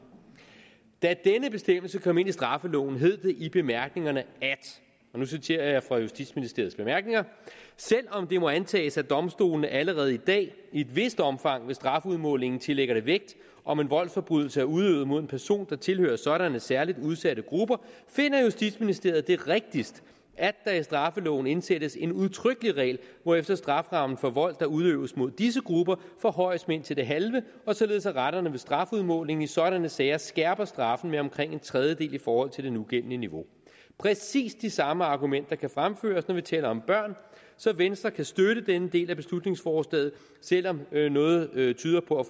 da denne bestemmelse kom ind i straffeloven hed det i bemærkningerne og nu citerer jeg fra justitsministeriets bemærkninger selv om det må antages at domstolene allerede i dag i et vist omfang ved strafudmålingen tillægger det vægt om en voldsforbrydelse er udøvet mod en person der tilhører sådanne særlig udsatte grupper finder justitsministeriet det rigtigst at der i straffeloven indsættes en udtrykkelig regel hvorefter strafferammen for vold der udøves mod disse grupper forhøjes med indtil det halve og således at retterne ved strafudmålingen i sådanne sager skærper straffen med omkring en trediedel i forhold til det nugældende niveau præcis de samme argumenter kan fremføres når vi taler om børn så venstre kan støtte denne del af beslutningsforslaget selv om noget tyder på at